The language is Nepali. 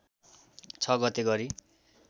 ६ गते गरी